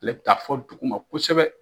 ale ta fo duguma kosɛbɛ